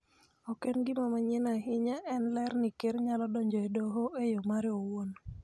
Ok en gima manyien ahinya, en ler ni Ker nyalo donjo e Doho e yo mare owuon